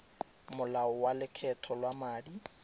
molao wa lokgetho lwa madi